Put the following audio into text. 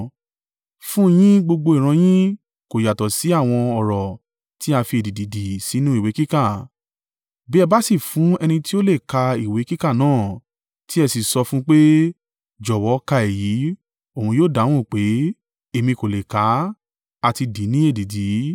Fún un yín gbogbo ìran yìí kò yàtọ̀ sí àwọn ọ̀rọ̀ tí a fi èdìdì dì sínú ìwé kíká. Bí ẹ bá sì fún ẹni tí ó lè ka ìwé kíká náà, tí ẹ sì sọ fún un pé, “Jọ̀wọ́ ka èyí,” òun yóò dáhùn pé, “Èmi kò lè kà á; a ti dì í ní èdìdì.”